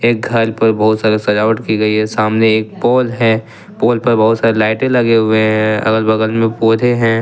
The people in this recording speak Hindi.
एक घर पर बहुत सारे सजावट की गई है सामने एक पोल है पोल पर बहुत सारी लाइटें लगे हुए हैं अगल बगल में पौधे हैं।